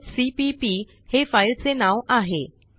talkसीपीपी हे फाईलचे नाव आहे